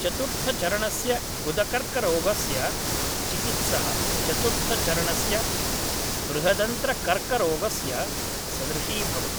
चतुर्थचरणस्य गुदकर्क्करोगस्य चिकित्सा चतुर्थचरणस्य बृहदन्त्रकर्क्करोगस्य सदृशी भवति